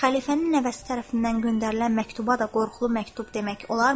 Xəlifənin nəvəsi tərəfindən göndərilən məktuba da qorxulu məktub demək olarmı?